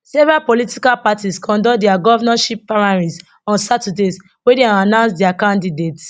several political parties conduct dia govnorship primaries on saturday wia dem announce dia candidates